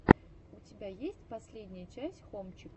у тебя есть последняя часть хомчика